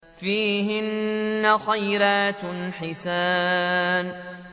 فِيهِنَّ خَيْرَاتٌ حِسَانٌ